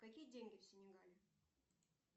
какие деньги в сенегале